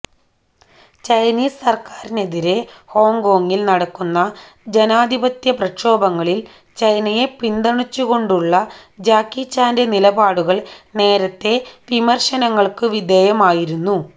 Chinese സർക്കാരിനെതിരെ ഹോങ്കോങ്ങിൽ നടക്കുന്ന ജനാധിപത്യ പ്രക്ഷോഭങ്ങളിൽ ചൈനയെ പിന്തുണച്ചുകൊണ്ടുള്ള ജാക്കി ചാന്റെ നിലപാടുകൾ നേരത്തേ വിമർശനങ്ങൾക്കു വിധേയമായിരുന്നു